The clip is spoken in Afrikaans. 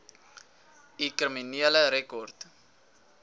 u kriminele rekord